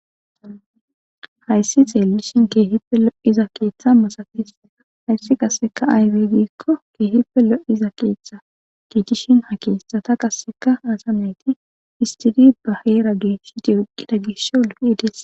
Hayssi xeelishin keehife lo7iza keeththa masafis hayssi qasseka aywe giikko keehipe lo7iza keeththa giitishin ha keeththata qasseka asameti istiri baheera geeshiti uqqida gisho lopedes